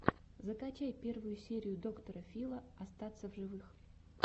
закачай первую серию доктора фила остаться в живых